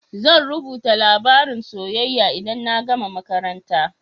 Zan rubuta labarin soyayya idan na gama makaranta.